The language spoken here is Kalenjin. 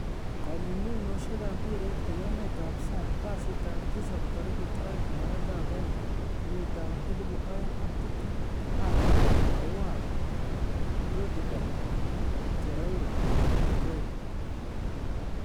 Kong'ung'uyosiekab mpiret en emetab sang kasitab tisap 02/02/2020 Alli, Aouar, Rudiger, Torreira, Gray